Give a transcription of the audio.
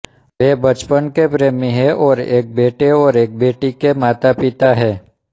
वे बचपन के प्रेमी हैं और एक बेटे और एक बेटी के मातापिता हैं